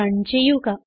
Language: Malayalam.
റൺ ചെയ്യുക